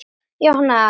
Bróðir minn líka.